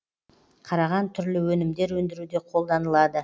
қараған түрлі өнімдер өндіруде қолданылады